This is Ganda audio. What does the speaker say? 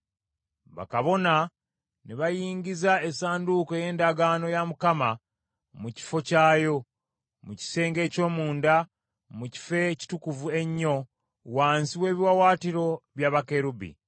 Bakabona ne bayingiza essanduuko ey’endagaano ya Mukama mu kifo kyayo, mu kisenge eky’omunda, mu Kifo Ekitukuvu Ennyo, wansi w’ebiwaawaatiro bya bakerubi.